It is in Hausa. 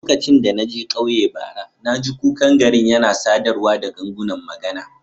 Lokacin da na je ƙauyen bara, na ji kukan garin yana sadarwa da gangunan magana.